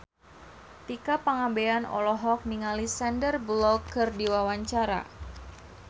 Tika Pangabean olohok ningali Sandar Bullock keur diwawancara